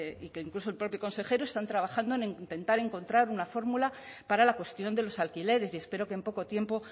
y que incluso el propio consejero están trabajando en intentar encontrar una fórmula para la cuestión de los alquileres y espero que en poco tiempo